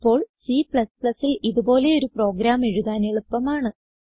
ഇപ്പോൾ Cൽ ഇതുപോലെയൊരു പ്രോഗ്രാം എഴുതാൻ എളുപ്പമാണ്